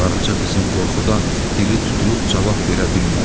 Qaraca qızın qorxudan dili tutulub cavab verə bilmədi.